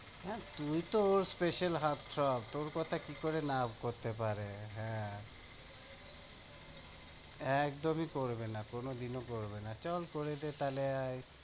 হ্যাঁ, তুই তো ওর special তোর কথা কি করে না করতে পারে? হ্যাঁ একদমই করবে না, কোনোদিনও করবে না, চল করে দে তাহলে এই